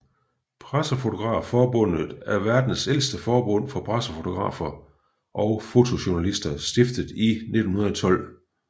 Pressefotografforbundet er verdens ældste forbund for pressefotografer og fotojournalister stiftet i 1912